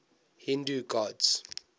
hindu gods